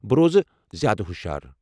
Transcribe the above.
بہٕ روزٕ زیادٕ ہُشار۔